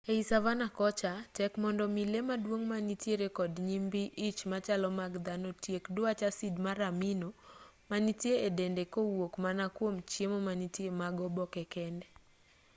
ei savanna kocha tek mondo mi lee maduong' manitire kod nyimbii ich machalo mag dhano otiek dwach asid mar amino manitie e dende kowuok mana kwom chiemo manitie mag oboke kende